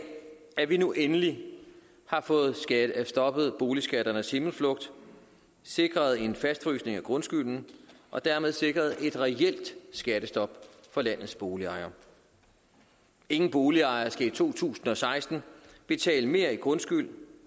at vi nu endelig har fået stoppet boligskatternes himmelflugt sikret en fastfrysning af grundskylden og dermed sikret et reelt skattestop for landets boligejere ingen boligejere skal i to tusind og seksten betale mere i grundskyld